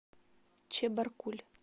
чебаркуль